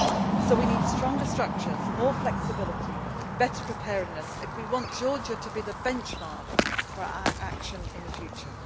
So we need stronger structures, more flexibility and better preparedness if we want Georgia to be the benchmark for our action in the